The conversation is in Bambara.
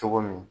Cogo min